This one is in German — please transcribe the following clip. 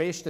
Besten